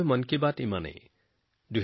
মন কী বাতে আজিলৈ ইমানেই